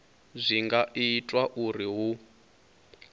zwi nga itwa uri hu